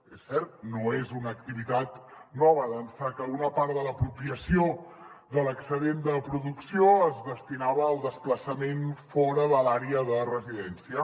és cert no és una activitat nova d’ençà que una part de l’apropiació de l’excedent de producció es destinava al desplaçament fora de l’àrea de residència